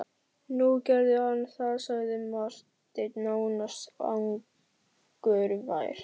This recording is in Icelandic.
Nú gerði hann það, sagði Marteinn nánast angurvær.